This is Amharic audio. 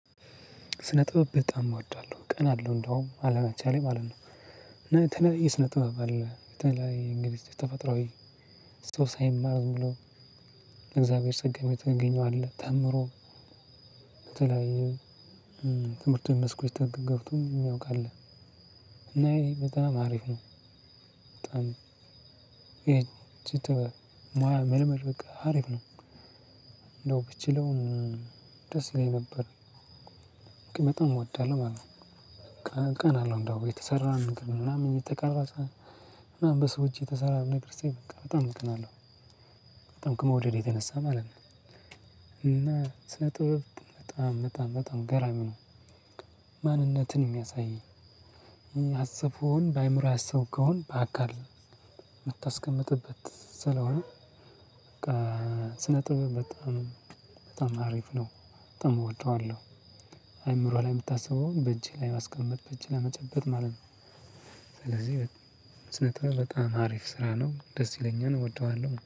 ስነ ጥበብ በጣም እወዳለሁ። እቀናለሁ እንደውም አለመቻሌ ማለት ነው። እና የተለያየ ስነ ጥበብ አለ። በተለይ እንግዲህ ተፈጥሯዊ ሰው ሳይማር ሁሉ በእግዚአብሔር ጸጋ የምታገኘው አለ። ተምሮ በተለይ የትምህርቱን መስኮች ገብቶ የሚያውቅ አለ። እና ይሄ በጣም አሪፍ ነው። በጣም ይሄ ቱቶር፣ ሙያ፣ ምልመል በቃ አሪፍ ነው። እንደው ብችለውም ደስ ይለኝ ነበር። በጣም እወዳለሁ ማለት ነው። ቀን አለው እንደውም የተሰራ ነገር ምናምን የተቀረጸ ምናምን በሰው እጅ የተሰራ ነገር ሳይ በቃብበጣም እቀናለሁ። በጣም ከመውደዴ የተነሳ ማለት ነው። እና ስነ ጥበብ በጣም በጣም በጣም ገራሚ ነው። ማንነትን የሚያሳይ፤ ያሰብከውን በአእምሮህ ያሰብከውን በአካል የምታስቀምጥበት ስለሆነ በቃ ስነ ጥብ በጣም በጣም አሪፍ ነው። በጣም እወደዋለሁ። አእምሮህ ላይ የምታስበውን በእጅህ ላይ ማስቀመጥ በእጅህ ላይብመጨበጥ ማለት ነው። ስለዚህ ስነ ጥበብ በጣም አሪፍ ስራ ነው። ደስ ይለኛል። እወደዋለሁ።